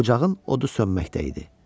Ocağın odu sönməkdə idi.